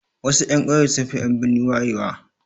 Wasu 'yan ƙauye sunfi en birni wayewa